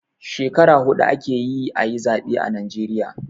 Skekara huɗu ake yi a yi zaɓe a najeriya.